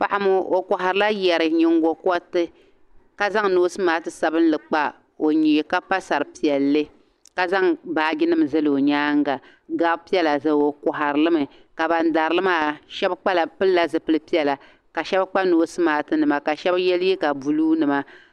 Paɣa ŋɔ o kɔhirila yari ka zaŋ noosi maaki sabinli kpa o nyee ka pa sar'piɛlli ka za baajinima zali o nyaaŋa gab'piɛla zaa o kɔhirili mi ka ban dari li maa shɛba pilila zipili piɛla ka shɛba kpa noosi maakinima ka shɛba ye liiga buluunima.